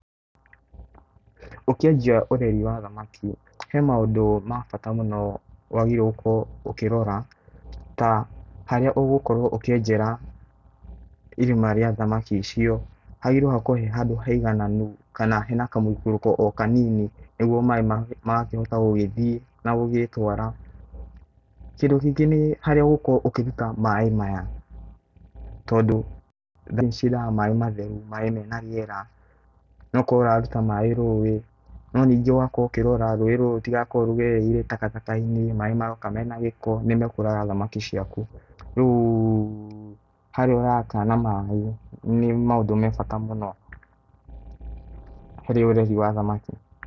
Ũkĩanjia ũreri wa thamaki he maũndũ ma bata mũno wagĩrĩ~irwo gũkorwo ũkĩrora ta harĩa ũgũkorowo ũkĩenjera irima rĩa thamaki icio hagĩrĩ~irwo hakorwo he handũ haĩgananu kana he na kamũĩkũrũko o kanini nĩgwo maaĩ magakĩhota gũ gĩthiĩ na gũgĩtwara. Kĩndũ kĩngĩ nĩ harĩa ũgũkorwo ũkĩruta maaĩ maya, tondũ nĩ cĩendaga maaĩ matheru, maaĩ mena rĩera.No ũkorwo ũrarũta maaĩ rũũĩ ,no ningĩ ũgakorwo ũkĩrora rũũĩ rũrũ rũtigakorwo rũgereire takataka~inĩ, maaĩ maroka mena gĩko nĩmekũraga thamaki ciakũ .rĩu harĩa ũrata maaĩ nĩ maũndũ mebata mũno harĩ ũreri wa thamakĩ.